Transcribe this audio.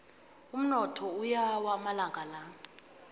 umnotho uyawa amalanga la